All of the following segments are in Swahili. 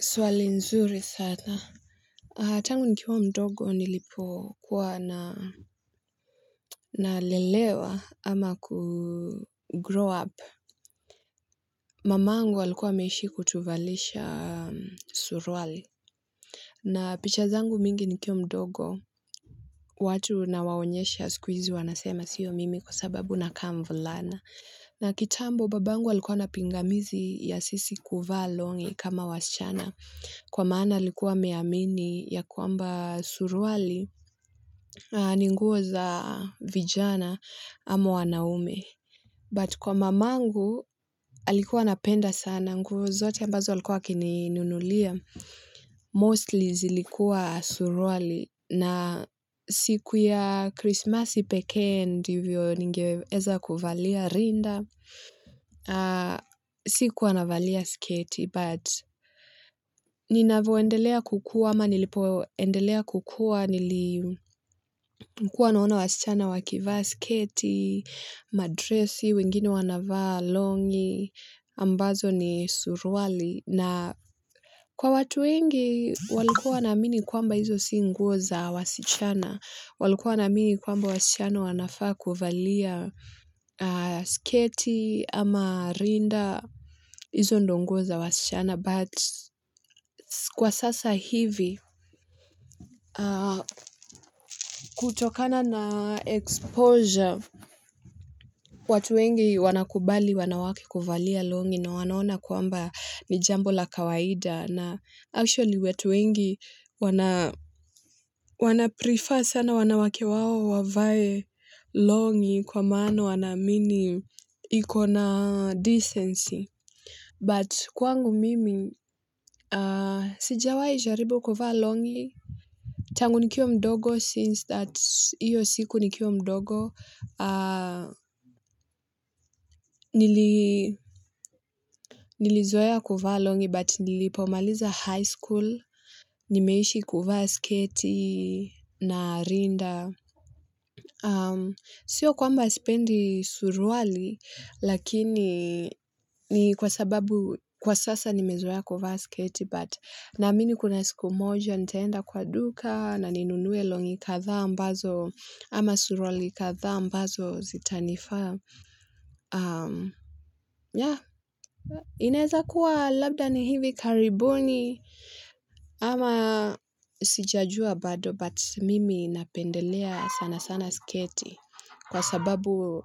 Swali nzuri sana. Tangu nikiwa mdogo nilipokuwa na nalelewa ama kugrow up. Mamangu walikuwa ameishi kutuvalisha suruali. Na pichazangu mingi nikiwa mdogo watu na waonyesha sikuhizi wanasema sio mimi kwasababu nakaa mvulana. Na kitambo babangu alikuwa na pingamizi ya sisi kuvaa longi kama wasichana. Kwa maana alikuwa ameamini ya kwamba suruali ni nguo za vijana ama wanaume. But kwa mamangu, alikuwa anapenda sana, nguo zote ambazo alikuwa akininunulia. Mostly zilikuwa suruali, na siku ya krismasi pekee, ndivyo ningeweza kuvalia rinda. Sikuwa navalia sketi but ninavyoendelea kukua ama nilipoendelea kukua nilikuwa naona wasichana wakivaa sketi, madresi, wengine wanavaa longi, ambazo ni suruali. Na kwa watu wengi walikua wanaamini kwamba izo si nguo za wasichana. Walikua wanaamini kwamba wasichana wanafaa kuvalia sketi ama rinda izo ndio nguo za wasichana. But kwa sasa hivi kutokana na exposure watu wengi wanakubali wanawake kuvalia longi na wanaona kuamba ni jambo la kawaida na actually watu wengi wana prefer sana wanawake wao wavae longi kwa maana wanaamini ikona decency but kwangu mimi sijawai jaribu kufalia longi tangu nikiwa mdogo since that. Iyo siku nikiwa mdogo. Nilizoea kuvaa longi but nilipomaliza high school. Nimeishi kuvaa sketi na rinda. Sio kwamba sipendi suruali lakini ni kwa sababu kwa sasa nimezoea kuvaa sketi but naamini kuna siku moja nitaenda kwa duka na ninunue longi kadhaa ambazo. Ama suruali kadhaa ambazo zitanifaa. Ya, inaweza kuwa labda ni hivi karibuni ama sijajua bado. But mimi napendelea sana sana sketi. Kwa sababu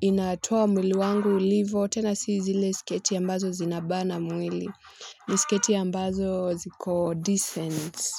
inatua mwili wangu ilivyo tena si zile sketi ambazo zinabana mwili. Ni sketi ambazo ziko decent.